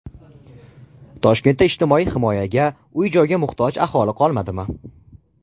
Toshkentda ijtimoiy himoyaga, uy-joyga muhtoj aholi qolmadimi?.